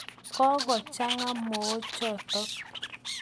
Kokochang'a mook chotok.